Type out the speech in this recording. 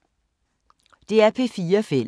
DR P4 Fælles